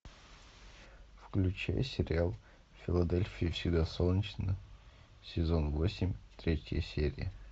включай сериал в филадельфии всегда солнечно сезон восемь третья серия